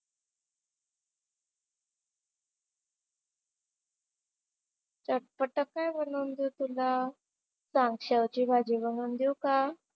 चटपटं काय बनवून देऊ तुला? सांग शेवेची भाजी बनवून देऊ का?